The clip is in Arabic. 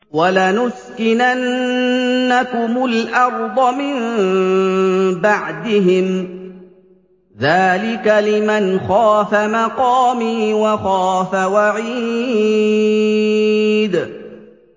وَلَنُسْكِنَنَّكُمُ الْأَرْضَ مِن بَعْدِهِمْ ۚ ذَٰلِكَ لِمَنْ خَافَ مَقَامِي وَخَافَ وَعِيدِ